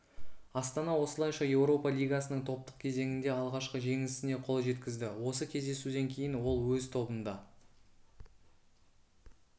астана осылайша еуропа лигасының топтық кезеңінде алғашқы жеңісіне қол жеткізді осы кездесуден кейін ол өз тобында